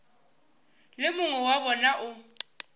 le mongwe wa bona o